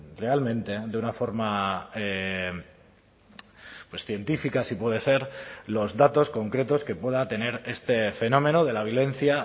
realmente de una forma pues científica si puede ser los datos concretos que pueda tener este fenómeno de la violencia